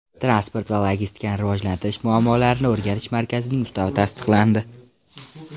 Transport va logistikani rivojlantirish muammolarini o‘rganish markazining ustavi tasdiqlandi.